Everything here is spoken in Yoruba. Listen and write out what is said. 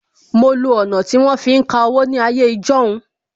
Mo lo ọ̀nà tí wọ́n fi ń ka owó ní ayé ijọ́hun